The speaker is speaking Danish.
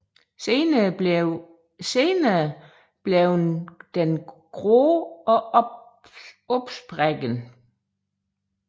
Senere bliver den grå og opsprækkende